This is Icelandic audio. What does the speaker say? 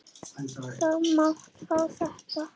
Þú mátt fá þetta.